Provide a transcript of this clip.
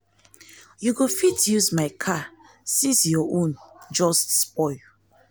you go fit use my car since your own[ um ] just spoil